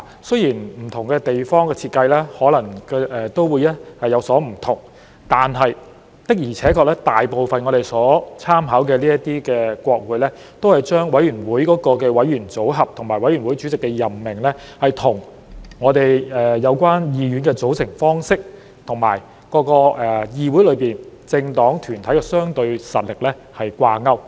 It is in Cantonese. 雖然不同地方的設計可能有所不同，但我們參考的大部分國會的確把委員會的委員組合和委員會主席的任命，與議院的組成方式和議院中的政黨或團體的相對實力掛鈎。